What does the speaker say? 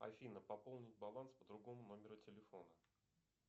афина пополнить баланс по другому номеру телефона